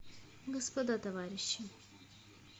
господа товарищи